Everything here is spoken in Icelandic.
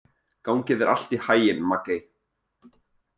Gangi þér allt í haginn, Maggey.